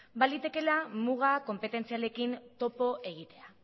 balitekeela mugak konpetentzialekin topo egitea